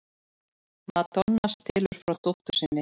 Madonna stelur frá dóttur sinni